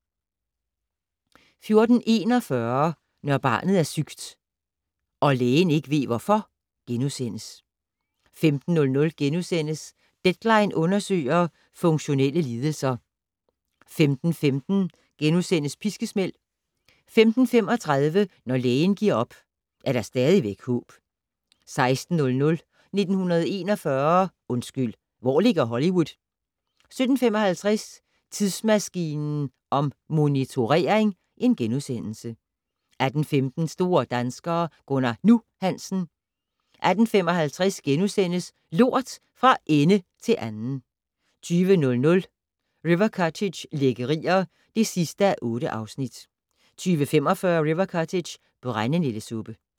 14:41: Når barnet er sygt - og lægen ikke ved hvorfor * 15:00: "Deadline" undersøger - funktionelle lidelser * 15:15: Piskesmæld * 15:35: Når lægen giver op, er der stadigvæk håb 16:00: 1941 - undskyld, hvor ligger Hollywood? 17:55: Tidsmaskinen om motionering * 18:15: Store danskere - Gunnar "Nu" Hansen. 18:55: Lort - fra ende til anden * 20:00: River Cottage - lækkerier (8:8) 20:45: River Cottage - brændenældesuppe